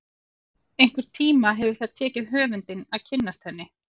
Einhvern tíma hefur það tekið höfundinn að kynnast henni.